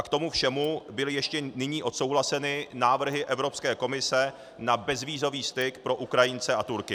A k tomu všemu byly ještě nyní odsouhlaseny návrhy Evropské komise na bezvízový styk pro Ukrajince a Turky.